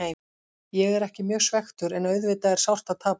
Ég er ekki mjög svekktur en auðvitað er sárt að tapa.